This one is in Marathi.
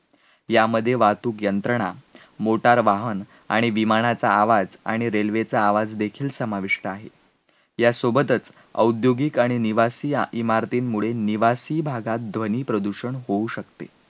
यामध्ये वाहतूक यंत्रणा, motor वाहन आणि विमानाचा आवाज आणि railway चा आवाज देखील समाविष्ट आहे. यासोबतच औद्योगिक आणि निवासीया इमारतींमुळे निवासी भागात ध्वनी प्रदूषण होऊ शकते.